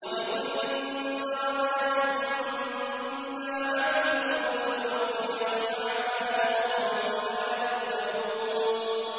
وَلِكُلٍّ دَرَجَاتٌ مِّمَّا عَمِلُوا ۖ وَلِيُوَفِّيَهُمْ أَعْمَالَهُمْ وَهُمْ لَا يُظْلَمُونَ